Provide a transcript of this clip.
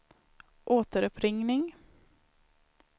återuppringning